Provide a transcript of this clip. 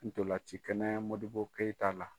Ntolan ci kɛnɛ modibɔ keyita la.